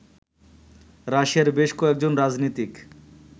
রাশিয়ার বেশ কয়েকজন রাজনীতিক